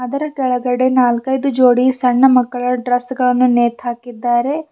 ಅದರ ಕೆಳಗಡೆ ನಾಲ್ಕೈದು ಜೋಡಿ ಸಣ್ಣ ಮಕ್ಕಳ ಡ್ರೆಸ್ ಗಳನ್ನು ನೇತಾಕಿದ್ದಾರೆ.